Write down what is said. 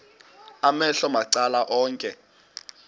amehlo macala onke